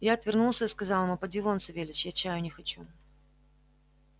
я отвернулся и сказал ему поди вон савельич я чаю не хочу